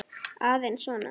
Aðeins svona.